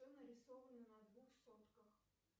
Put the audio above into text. что нарисовано на двух сотках